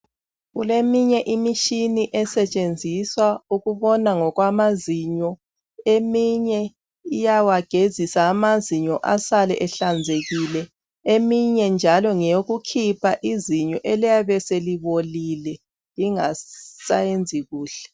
kuleminye imitshini esetshenziswa ngokubona kwamazinyo eminye iyawagezisa amazinyo asale enhlazekile eminye njalo ngeyokukhipha izinyo eliyabe selibolile lisayenzi kuhle